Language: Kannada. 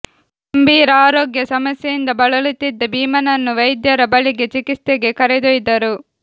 ಗಂಭೀರ ಆರೋಗ್ಯ ಸಮಸ್ಯೆಯಿಂದ ಬಳಲುತ್ತಿದ್ದ ಭೀಮನನ್ನು ವೈದ್ಯರ ಬಳಿಗೆ ಚಿಕಿತ್ಸೆಗೆ ಕರೆದೊಯ್ದರು